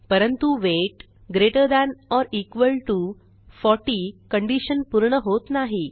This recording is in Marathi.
परंतु weight greater than or equal T O 40 condition पूर्ण होत नाही